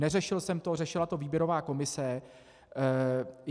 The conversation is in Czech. Neřešil jsem to, řešila to výběrová komise.